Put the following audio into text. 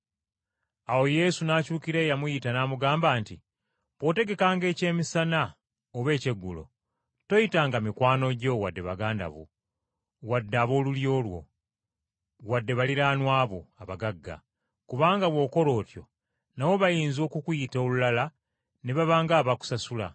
Awo Yesu n’akyukira eyamuyita n’amugamba nti, “Bw’otegekanga ekyemisana oba ekyeggulo, toyitanga mikwano gyo, wadde baganda bo, wadde ab’olulyo lwo, wadde baliraanwa bo abagagga; kubanga bw’okola otyo nabo bayinza okukuyita olulala ne baba ng’abakusasula.